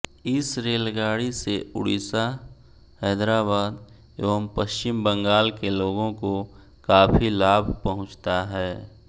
इस रेलगाड़ी से उड़ीसा हैदराबाद एवं पश्चिम बंगाल के लोगों को काफी लाभ पहुंचता हैं